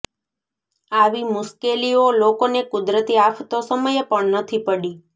આવી મુશ્કેલીઓ લોકોને કુદરતી આફતો સમયે પણ નથી પડી